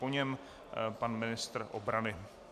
Po něm pan ministr obrany.